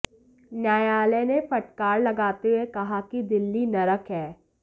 न्यायालय ने फटकार लगाते हुए कहा कि दिल्ली नरक है